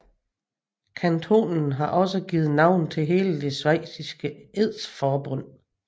Kantonen har også givet navn til hele det schweiziske edsforbund